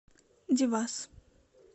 девас